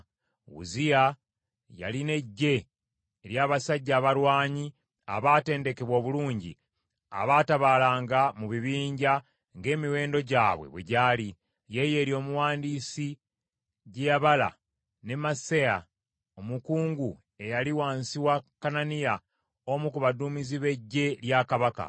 Uzziya yalina eggye ery’abasajja abalwanyi abaatendekebwa obulungi, abaatabaalanga mu bibinja ng’emiwendo gyabwe bwe gyali, Yeyeri omuwandiisi gye yabala ne Maaseya omukungu, eyali wansi wa Kananiya, omu ku baduumizi b’eggye lya kabaka.